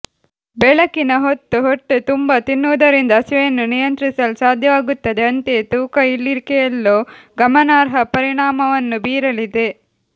ಬೆಳಗಿನ ಹೊತ್ತು ಹೊಟ್ಟೆ ತುಂಬಾ ತಿನ್ನುವುದರಿಂದ ಹಸಿವೆಯನ್ನು ನಿಯಂತ್ರಿಸಲು ಸಾಧ್ಯವಾಗುತ್ತದೆ ಅಂತೆಯೇ ತೂಕ ಇಳಿಕೆಯಲ್ಲೂ ಗಮನಾರ್ಹ ಪರಿಣಾಮವನ್ನು ಬೀರಲಿದೆ